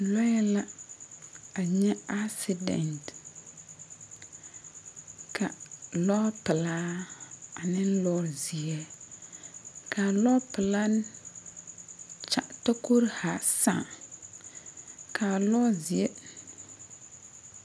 Lɔɛ la a nye asidɛnt. Ka lɔɔ pulaa ane lɔɔ zie. Ka a lɔɔ pulaa tokoro zaa saaŋ. Ka lɔɔ zie